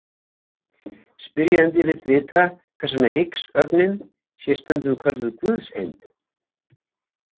Spyrjandi vill vita hvers vegna Higgs-ögnin sé stundum kölluð Guðseindin.